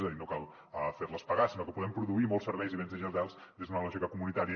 és a dir no cal fer les pagar sinó que podem produir molts serveis i béns digitals des d’una lògica comunitària